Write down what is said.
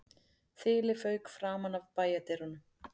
Þilið fauk framan af bæjardyrunum